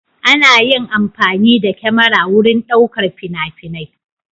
Ana yin amfani da kyamara wurin ɗaukar fina-finai.